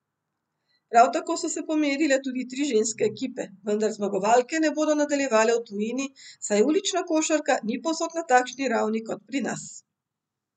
Prav tako so se pomerile tudi tri ženske ekipe, vendar zmagovalke ne bodo nadaljevale v tujini, saj ulična košarka ni povsod na takšni ravni kot pri nas.